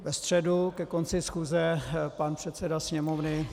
Ve středu ke konci schůze pan předseda Sněmovny -